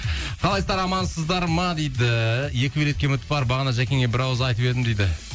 қалайсыздар амансыздар ма дейді екі билетке үміт бар бағана жәкеңе бір ауыз айтып едім дейді